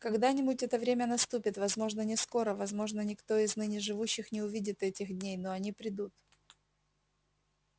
когда-нибудь это время наступит возможно не скоро возможно никто из ныне живущих не увидит этих дней но они придут